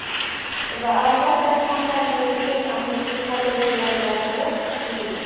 Va albatta, kompaniyaning eng asosiy qadriyatlaridan biri – xavfsizlik!